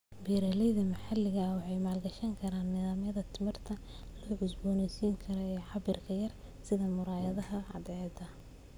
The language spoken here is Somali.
Beeralayda maxalliga ah waxay maalgashi karaan nidaamyada tamarta la cusboonaysiin karo ee cabbirka yar sida muraayadaha cadceedda.